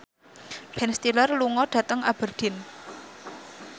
Ben Stiller lunga dhateng Aberdeen